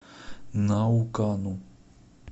наукану